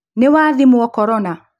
Nĩwathimwo korona